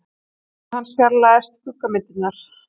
Augu hans fjarlægjast skuggamyndirnar.